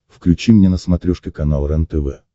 включи мне на смотрешке канал рентв